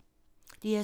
DR2